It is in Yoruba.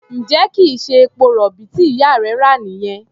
Ǹjẹ́ kì í ṣe epo-rọ̀bì tí ìyá rẹ rà nìyẹn?